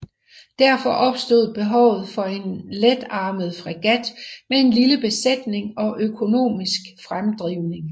Derfor opstod behovet for en letarmeret fregat med en lille besætning og økonomisk fremdrivning